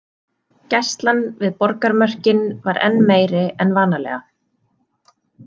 Gæslan við borgarmörkin var enn meiri en vanalega.